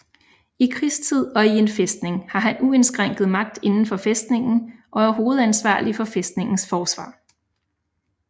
I krigstid og i en fæstning har han uindskrænket magt indenfor fæstningen og er hovedansvarlig for fæstningens forsvar